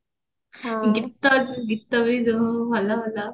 ଗୀତ ବି ଯୋଉ ଭଲ ଭଲ